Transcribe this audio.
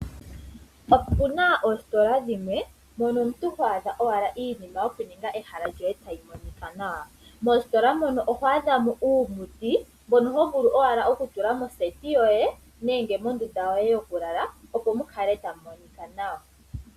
Opuna oositola dhimwe mono omuntu ho adha owala iinima yokuninga ehala lyoye tali monika nawa. Moositola mono oho adha mo uumuti mbono ho vulu owala okutula moseti yoye nenge mondunda yoye yokulala opo mu kale tamu monika nawa.